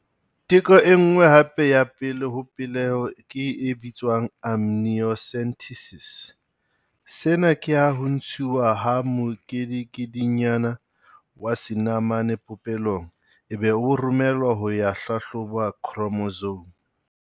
Teko e nngwe hape ya pele ho peleho ke e bitswang amniocentesis. Sena ke ha ho ntshuwa ha mokedikedinyana wa senamane popelong ebe o romellwa ho ya hlahloba khromosome.